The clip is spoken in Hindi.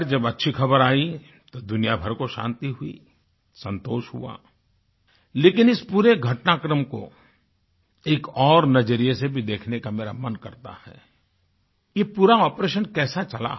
खैर जब अच्छी ख़बर आयी तो दुनिया भर को शान्ति हुई संतोष हुआ लेकिन इस पूरे घटनाक्रम को एक और नज़रिये से भी देखने का मेरा मन करता है कि पूरा आपरेशन कैसा चला